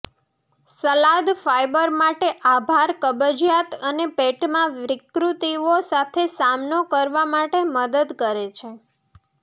સલાદ fibre માટે આભાર કબજિયાત અને પેટમાં વિકૃતિઓ સાથે સામનો કરવા માટે મદદ કરે છે